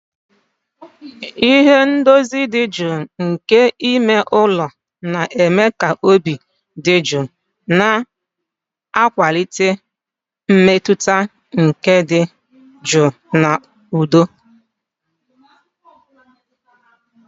Ihe ndozi dị jụụ nke ime ụlọ na-eme ka obi dị jụụ, na-akwalite mmetụta nke ịdị jụụ na udo